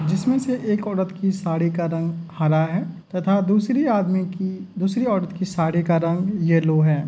जिसमें से एक औरत की साड़ी का रंग हरा है तथा दूसरे आदमी की दूसरी औरत की साड़ी का रंग येलो है।